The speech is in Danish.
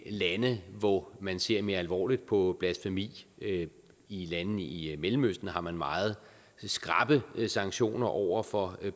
lande hvor man ser mere alvorligt på blasfemi i landene i i mellemøsten har man meget skrappe sanktioner over for